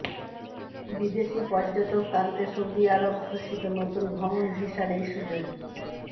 বিদেশি পর্যটক টানতে সৌদি আরব ঘোষিত নতুন ভ্রমণ ভিসায় এই সুযোগ